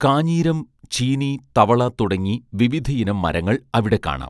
കാഞ്ഞീരം ചീനി തവള തുടങ്ങി വിവിധയിനം മരങ്ങൾ അവിടെ കാണാം